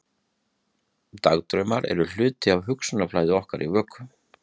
Dagdraumar eru hluti af hugsanaflæði okkar í vöku.